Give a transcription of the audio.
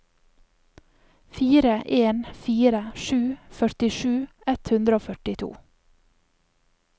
fire en fire sju førtisju ett hundre og førtito